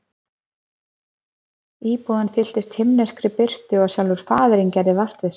Íbúðin fylltist himneskri birtu og sjálfur Faðirinn gerði vart við sig.